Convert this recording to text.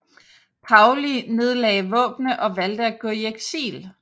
Paoli nedlagde våbnene og valgte at gå i eksil